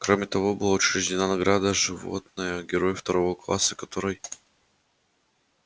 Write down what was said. кроме того была учреждена награда животное герой второго класса которой